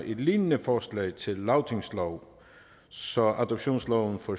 et lignende forslag til lagtingslov så adoptionsloven for